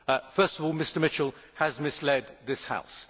First of all, Mr Mitchell has misled this House.